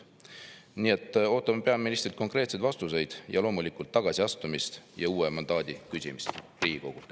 Nii et ootame peaministrilt konkreetseid vastuseid ja loomulikult tagasiastumist ja uue mandaadi küsimist Riigikogult.